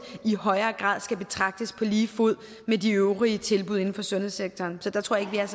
i højere grad betragtes på lige fod med de øvrige tilbud inden for sundhedssektoren så der tror jeg